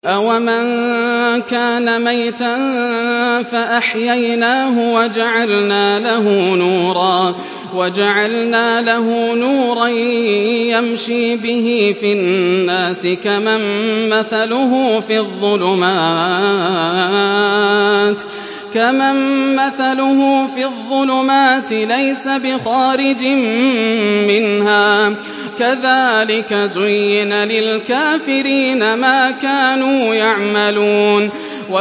أَوَمَن كَانَ مَيْتًا فَأَحْيَيْنَاهُ وَجَعَلْنَا لَهُ نُورًا يَمْشِي بِهِ فِي النَّاسِ كَمَن مَّثَلُهُ فِي الظُّلُمَاتِ لَيْسَ بِخَارِجٍ مِّنْهَا ۚ كَذَٰلِكَ زُيِّنَ لِلْكَافِرِينَ مَا كَانُوا يَعْمَلُونَ